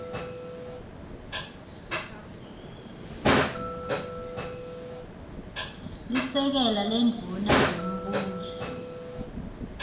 lisekela lendvuna yembuso